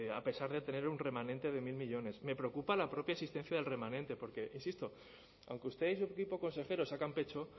a pesar de tener un remanente de mil millónes me preocupa la propia existencia del remanente porque insisto aunque usted y su equipo consejero sacan pecho